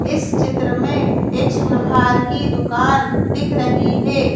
इस चित्र में एक सुनहार की दुकान दिख रही है।